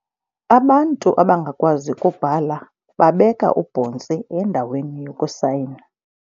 Abantu abangakwazi kubhala babeka ubhontsi endaweni yokusayina.